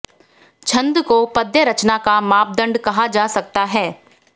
छंद को पद्य रचना का मापदंड कहा जा सकता है